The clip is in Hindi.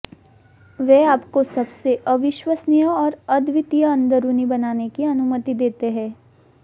वे आपको सबसे अविश्वसनीय और अद्वितीय अंदरूनी बनाने की अनुमति देते हैं